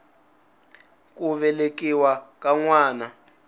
ku velekiwa ka n wana